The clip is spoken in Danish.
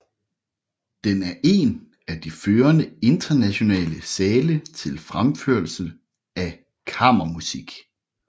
Den er en af de førende internationale sale til fremførelse af kammermusik